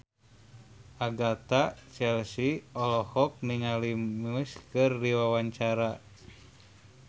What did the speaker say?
Agatha Chelsea olohok ningali Muse keur diwawancara